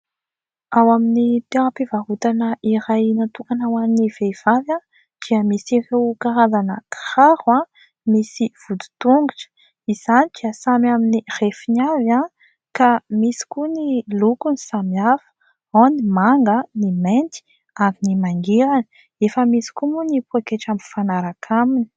Ao amin'ny toeram-pivarotana iray natokana ho an'ny vehivavy dia misy ireo karazana kiraro misy vodin-tongotra. Izany dia samy amin'ny refiny avy ka misy koa ny lokony samihafa : ao ny manga, ny mainty ary ny mangirana. Efa misy koa moa ny pôketra mifanaraka aminy.